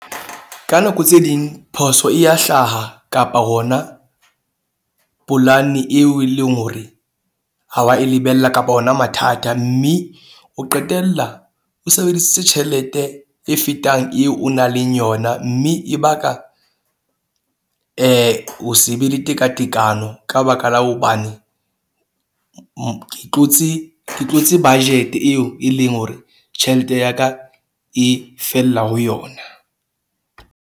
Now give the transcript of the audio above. Ka nako tse ding phoso e ya hlaha kapa hona polane, eo e leng hore ha wa e lebella kapa hona mathata. Mme o qetella o sebedisitse tjhelete e fetang eo o nang le yona. Mme e baka ho se be le tekatekano. Ka baka la hobane ke tlotse, ke tlotse budget eo e leng hore tjhelete ya ka e fella ho yona.